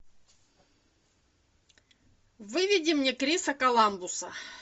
выведи мне криса коламбуса